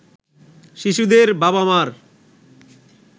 শিশুদের বাবা-মার